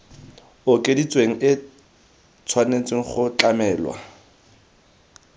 okeditsweng e tshwanetse go tlamelwa